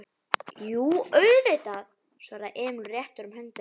Jú, auðvitað, svaraði Emil og rétti honum höndina.